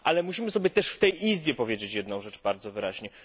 Ale musimy sobie też w tej Izbie powiedzieć jedną rzecz bardzo wyraźnie.